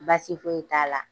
Baasi foyi ye t'a la.